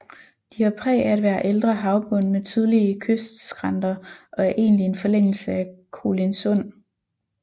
De har præg af at være ældre havbund med tydelige kystskrænter og er egentlig en forlængelse af Kolindsund